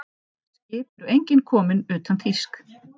Skip eru engin komin utan þýsk.